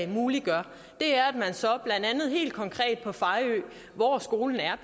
muliggør er at man så blandt andet helt konkret på fejø hvor skolen er